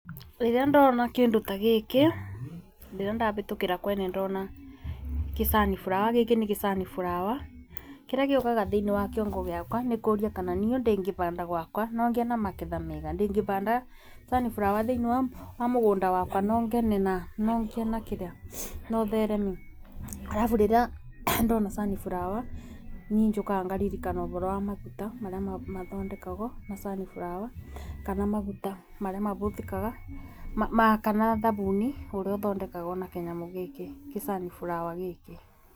Rĩrĩa ndona kĩndũ ta gĩkĩ rĩrĩa ndabĩtũkĩra kwene ndona kĩ sunflower, gĩkĩ nĩ gĩsunflower, kĩrĩa gĩũkaga thiinĩ wa kĩongo gĩakwa nĩ kũria kana niĩ ũndu ingĩbanda gwakwa nongĩe na maketha mega, ingĩbanda sunflower thiini wa mũgunda wakwa no ngene na nongĩe nakĩrĩa no thereme. Arabu rĩrĩa ndona sunflower nĩ njũkaga ngaririkana ũboro wa maguta marĩa mathondekagwo na sunflower. Kana maguta maria mabũthĩkaga na kana thabuni ũrĩa ũthondekagwo na kinyamũ gukĩ kĩ sunflower gĩkĩ.